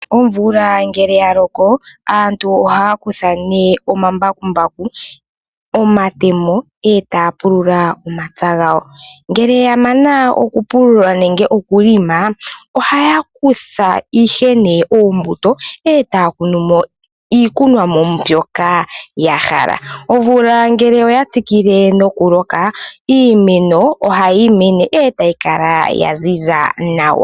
Ombilya ngele yaloko , Aantu ohaya kutha ne omambakumbaku, omatemo etapulula omapya ngawo, Ngele yamana okupulula nenge okuhelela, ohaya kutha ihe ne uumbuto etaya kunumo iikunomwa mbyoka yahala, omvula ngele oya tsikile nokuloka iimeno ohayi mene otayi Kala yanzinza nawa.